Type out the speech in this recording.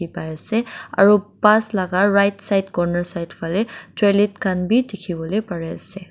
paiase aru bus laka right side corner side fanae toilet khan bi dikhiwo lae parease.